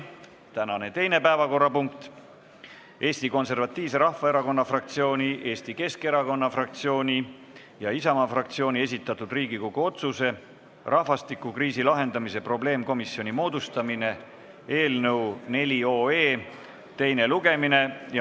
Tänane teine päevakorrapunkt on Eesti Konservatiivse Rahvaerakonna fraktsiooni, Eesti Keskerakonna fraktsiooni ja Isamaa fraktsiooni esitatud Riigikogu otsuse "Rahvastikukriisi lahendamise probleemkomisjoni moodustamine" eelnõu teine lugemine.